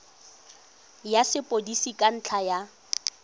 ya sepodisi ka ntlha ya